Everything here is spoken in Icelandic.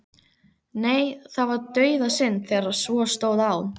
Nei, það var dauðasynd þegar svo stóð á.